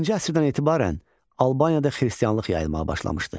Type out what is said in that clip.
Birinci əsrdən etibarən Albaniyada xristianlıq yayılmağa başlamışdı.